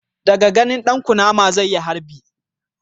Da ganin dan kunama zai yi harbi